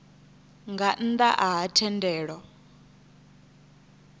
nga nnḓ a ha thendelo